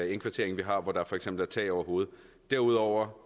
indkvarteringer vi har hvor der for eksempel er tag over hovedet derudover